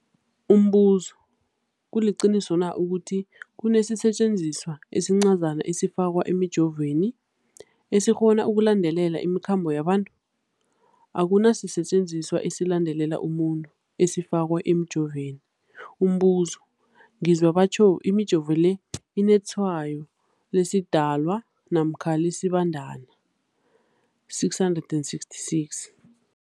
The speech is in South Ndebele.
Umbuzo, kuliqiniso na ukuthi kunesisetjenziswa esincazana esifakwa emijovweni, esikghona ukulandelela imikhambo yabantu? Akuna sisetjenziswa esilandelela umuntu esifakwe emijoveni. Umbuzo, ngizwa batjho imijovo le inetshayo lesiDalwa namkha lesiBandana 666.